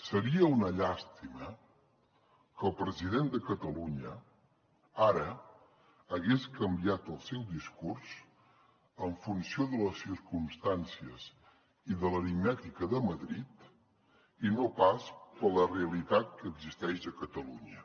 seria una llàstima que el president de catalunya ara hagués canviat el seu discurs en funció de les circumstàncies i de l’aritmètica de madrid i no pas per la realitat que existeix a catalunya